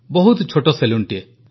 ବହୁତ ଛୋଟ ସେଲୁନଟିଏ